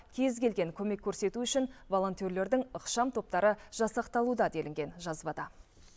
кез келген көмек көрсету үшін волонтерлердің ықшам топтары жасақталуда делінген жазбада